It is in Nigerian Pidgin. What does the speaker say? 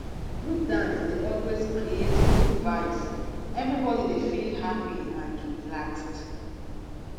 group dance dey always create good vibes everybody dey feel happy and relaxed